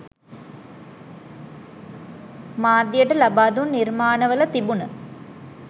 මාධ්‍යට ලබා දුන් නිර්මාණවල තිබුණ